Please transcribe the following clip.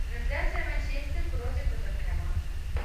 трансляция манчестер против тоттенхэма